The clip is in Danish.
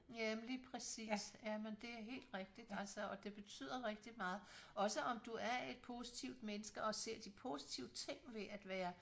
Ja men lige præcis ja men det er helt rigtigt altså og det betyder rigtig meget også om du er et positivt menneske og ser de positive ting ved at være